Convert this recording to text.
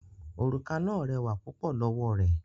Òrùka náà rẹwà púpọ̀ lọ́wọ́ rẹ̀